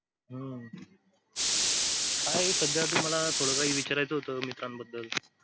हम्म काय सध्या तुम्हांला थोडासा विचारायचं होत मित्रांबद्दल